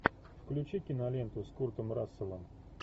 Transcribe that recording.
включи киноленту с куртом расселом